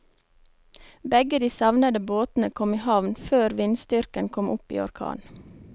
Begge de savnede båtene kom i havn før vindstyrken kom opp i orkan.